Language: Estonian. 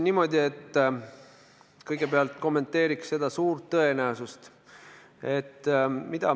Ma kõigepealt kommenteeriks seda suurt tõenäosust.